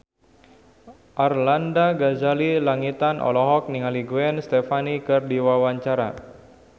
Arlanda Ghazali Langitan olohok ningali Gwen Stefani keur diwawancara